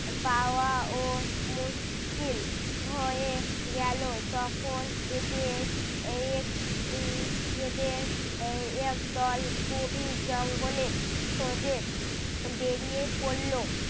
পাওয়া ও মুশকিল হয়ে গেলো তখন এদের উহ এদের আহ একদল গভীর জঙ্গলে খোঁজে বেরিয়ে পড়লো।